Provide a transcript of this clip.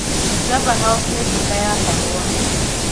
Java House nĩ nduka ya kahũa.